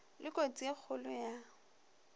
le kotsi e kgolo ya